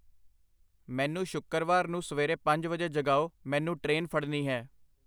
ਮੈਨੂੰ ਸ਼ੁੱਕਰਵਾਰ ਨੂੰ ਸਵੇਰੇ ਪੰਜ ਵਜੇ ਜਗਾਓ, ਮੈਨੂੰ ਟ੍ਰੇਨ ਫੜਨੀ ਹੈ।